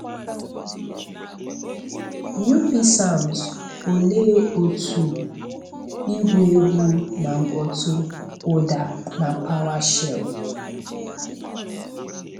Up Sounds Olee otú igwu egwu na “mkpọ̀tụ́” ụda na PowerShell?